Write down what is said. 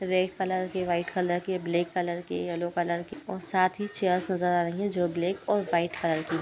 Red colour के white colour के black colour के येलो कलर के और साथ ही चेयरस नजर आ रही हैं। जो ब्लैक एण्ड व्हाइट कलर की हैं।